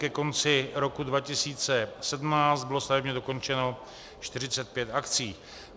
Ke konci roku 2017 bylo stavebně dokončeno 45 akcí.